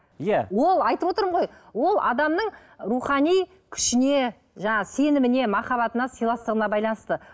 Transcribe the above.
иә ол айтып отырмын ғой ол адамның рухани күшіне жаңағы сеніміне махаббатына сыйластығына байланысты